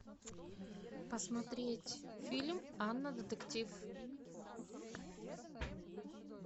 посмотреть фильм анна детектив